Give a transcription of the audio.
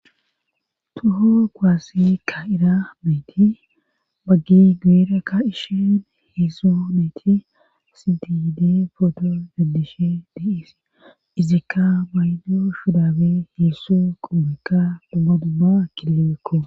tuho kuwaasse ka'iza nayti baggiy guuyera ka'ishin hezdzdu nayti siti giidi footo denddishe de'es izikka maydo shurabey hezdzdu qomekka doma dumma kilebekko